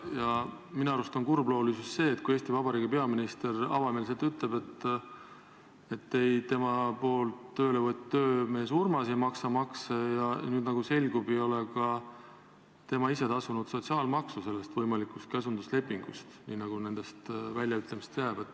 Ja minu arust on kurbloolisus selles, et Eesti Vabariigi peaminister ütleb avameelselt, et tema ministri poolt tööle võetud töömees Urmas ei maksa makse ja nüüd, nagu selgub, ei ole ka tema ise tasunud sotsiaalmaksu selle võimaliku käsunduslepingu puhul, nii nagu nendest väljaütlemistest mulje jääb.